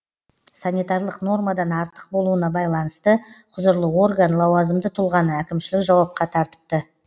санитарлық нормадан артық болуына байланысты құзырлы орган лауазымды тұлғаны әкімшілік жауапқа тартыпты